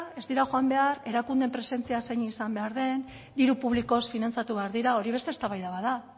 ez dira joan behar erakundeen presentzia zein izan behar den diru publikoz finantzatu behar dira hori beste eztabaida bat da